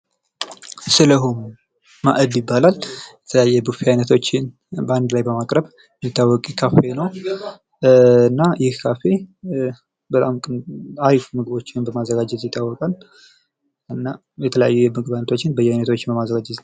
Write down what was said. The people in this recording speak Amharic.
ሰሊሆም ማእድ ይባላል። የተለያዩ የምግብ አይነቶች በማቅረብ የሚተወቅ ሲሆን እና ይህ ካፌ በጣም ጥሩ አሪፍ ምግቦችን በማዘጋጀት ይታወቃል። እና የተለያዩ የምግብ አይነቶችን በማዘጋጀት ይታወቃል።